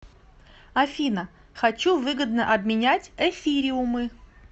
афина хочу выгодно обменять эфириумы